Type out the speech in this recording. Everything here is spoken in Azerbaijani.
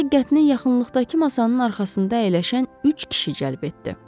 Onun diqqətini yaxınlıqdakı masanın arxasında əyləşən üç kişi cəlb etdi.